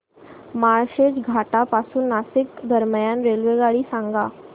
माळशेज घाटा पासून नाशिक दरम्यान रेल्वेगाडी सांगा